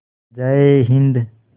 जय हिन्द